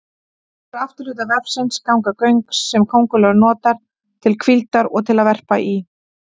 Úr afturhluta vefsins ganga göng sem köngulóin notar til hvíldar og til að verpa í.